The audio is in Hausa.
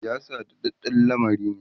siyasa daɗaɗɗan lamari ne